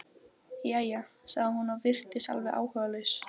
Jæja? sagði hún og virtist alveg áhugalaus.